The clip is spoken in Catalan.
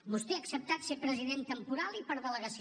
vostè ha acceptat ser president temporal i per delegació